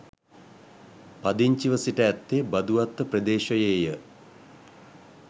පදිංචිව සිට ඇත්තේ බදුවත්ත ප්‍රදේශයේය.